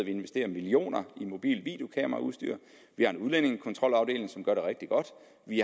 investerer millioner i mobilt videokameraudstyr vi har en udlændingekontrolafdeling som gør det rigtig godt